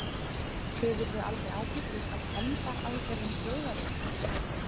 Hefurðu aldrei áhyggjur af hefndaraðgerðum Þjóðverja?